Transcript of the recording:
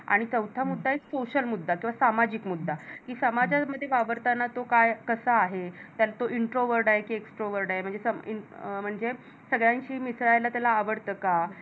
आणि चौथा मुद्दा आहे Social मुद्दा किंवा सामाजिक मुद्दा कि समजा मध्ये वावरतांना तो काय? कसा आहे? तो introword आहे कि extroword म्हणजे सगळ्यांशी मिसळायला त्याला आवडतं का?